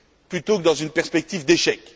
plutôt que dans une perspective d'échec.